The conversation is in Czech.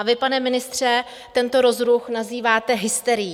A vy, pane ministře, tento rozruch nazýváte hysterií.